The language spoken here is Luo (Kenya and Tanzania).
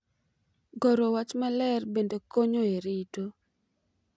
Goro wach maler bende konyo e rito .